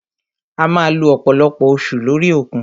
A máà lo ọ̀pọ̀lọpọ̀ oṣù lórí òkun.